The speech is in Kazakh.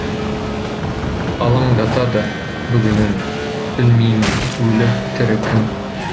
алаңдатады бүгінің білмеймін өлі тірі кім